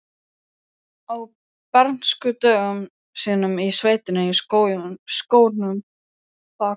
Á bernskudögum sínum í sveitinni, í skógunum bakvið